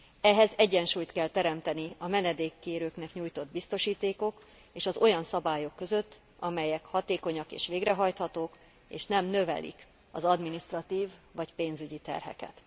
Ehhez egyensúlyt kell teremteni a menedékkérőknek nyújtott biztosítékok és az olyan szabályok között, amelyek hatékonyak és végrehajthatók, és nem növelik az adminisztratív vagy pénzügyi terheket.